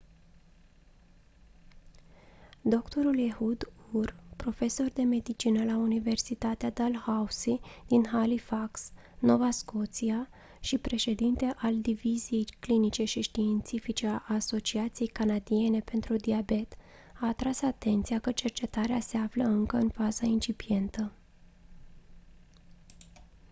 dr ehud ur profesor de medicină la universitatea dalhousie din halifax nova scotia și președinte al diviziei clinice și științifice a asociației canadiene pentru diabet a atras atenția că cercetarea se află încă în fază incipientă